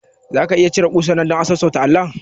Zaka iya cire kusar nan dan sassauta allon?